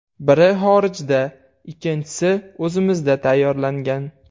Biri xorijda, ikkinchisi o‘zimizda tayyorlangan.